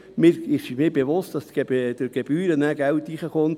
Es ist mir bewusst, dass mit den Gebühren wieder Geld hereinkommt.